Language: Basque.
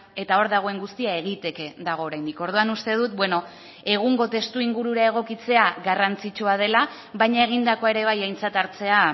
eta hor dagoen guztia egiteke dago oraindik orduan uste dut beno egungo testuingurura egokitzea garrantzitsua dela baina egindakoa ere bai aintzat hartzea